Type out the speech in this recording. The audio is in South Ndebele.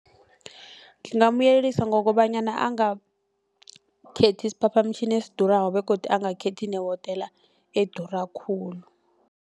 Ngingamyelelisa ngokobanyana angakhethi isiphaphamtjhini esidurako begodu angakhethi nehotela edura khulu.